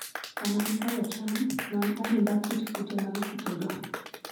Sama ikayo cham, non adimba kit kute mag kutego.